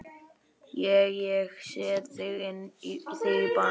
Ég. ég set þig í bann!